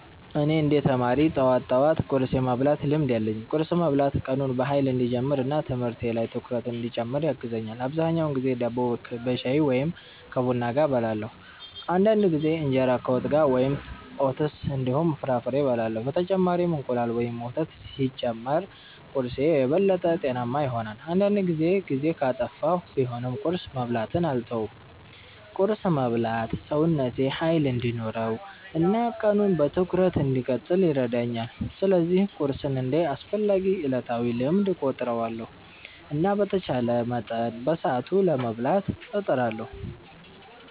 እኔ እንደ ተማሪ ጠዋት ጠዋት ቁርስ የመብላት ልምድ አለኝ። ቁርስ መብላት ቀኑን በኃይል እንዲጀምር እና ትምህርት ላይ ትኩረት እንዲጨምር ያግዛል። አብዛኛውን ጊዜ ዳቦ ከሻይ ወይም ከቡና ጋር እበላለሁ። አንዳንድ ጊዜ እንጀራ ከወጥ ጋር ወይም ኦትስ እንዲሁም ፍራፍሬ እበላለሁ። በተጨማሪም እንቁላል ወይም ወተት ሲጨመር ቁርስዬ የበለጠ ጤናማ ይሆናል። አንዳንድ ጊዜ ጊዜ ካጠፋሁ ቢሆንም ቁርስ መብላትን አልተውም። ቁርስ መብላት ሰውነቴ ኃይል እንዲኖረው እና ቀኑን በትኩረት እንድቀጥል ይረዳኛል። ስለዚህ ቁርስን እንደ አስፈላጊ ዕለታዊ ልምድ እቆጥራለሁ እና በተቻለ መጠን በሰዓቱ ለመብላት እጥራለሁ።